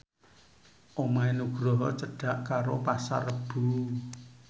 omahe Nugroho cedhak karo Pasar Rebo